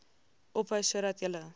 ophou sodat julle